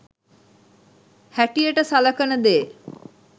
හැටියට සලකන දේ.